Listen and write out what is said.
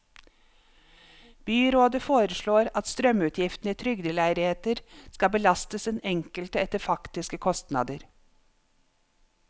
Byrådet forslår at strømutgifter i trygdeleiligheter skal belastes den enkelte etter faktiske kostnader.